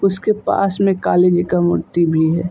उसके पास में काली जी का मूर्ति भी है ।